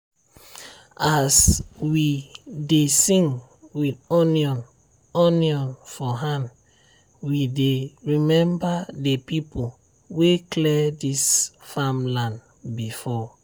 as we dey sing with onion onion for hand we dey remember the people wey clear this farmland before.